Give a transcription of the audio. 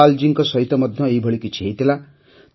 ଧନ୍ପାଲ୍ଜୀଙ୍କ ସହିତ ମଧ୍ୟ ଏହିଭଳି କିଛି ହୋଇଥିଲା